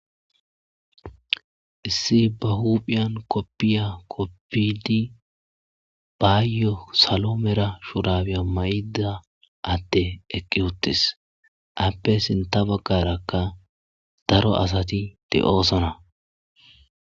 Issi ba huphiyan koppiya koppidi baayyo salo mera shurabiya may7da atte eqqi uttis appe sinta baggarakka daro asati de7oosona.